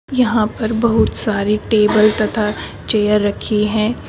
यहां पर बहुत सारे टेबल तथा चेयर रखी है।